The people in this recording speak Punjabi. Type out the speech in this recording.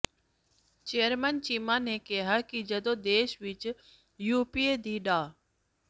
ਚੇਅਰਮੈਨ ਚੀਮਾ ਨੇ ਕਿਹਾ ਕਿ ਜਦੋਂ ਦੇਸ਼ ਵਿੱਚ ਯੁਪੀਏ ਦੀ ਡਾ